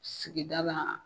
Sigida la